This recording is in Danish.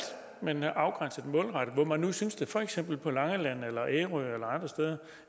men afgrænset og målrettet hvor man nu synes det for eksempel på langeland ærø eller andre steder